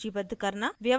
व्यवस्थित output दिखाना